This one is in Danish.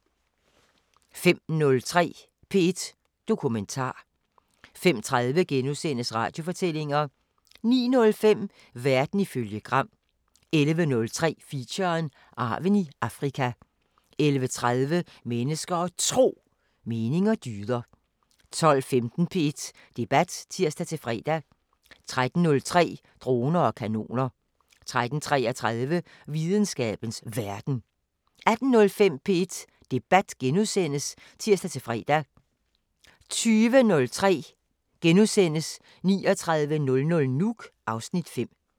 05:03: P1 Dokumentar 05:30: Radiofortællinger * 09:05: Verden ifølge Gram 11:03: Feature: Arven i Afrika 11:30: Mennesker og Tro: Mening og dyder 12:15: P1 Debat (tir-fre) 13:03: Droner og kanoner 13:33: Videnskabens Verden 18:05: P1 Debat *(tir-fre) 20:03: 3900 Nuuk (Afs. 5)*